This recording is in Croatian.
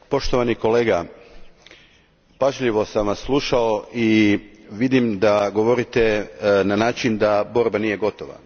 Gospodine Faria, pažljivo sam vas slušao i vidim da govorite na način da borba nije gotova.